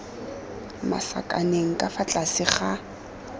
masakaneng ka fa tlase ga